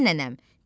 Sənnənəm.